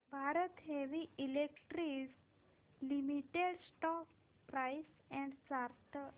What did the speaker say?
Bharat heavy electricals limited stock price and chart